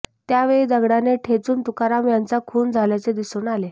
त्यावेळी दगडाने ठेचून तुकाराम यांचा खून झाल्याचे दिसून आले